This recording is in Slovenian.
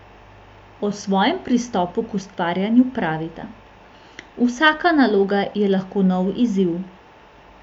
O svojem pristopu k ustvarjanju pravita: "Vsaka naloga je lahko nov izziv.